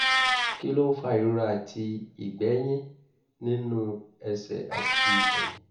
kí ló ń fa ìrora àti ìgbẹ́yín nínú ẹsẹ̀ àti ẹ̀yìn?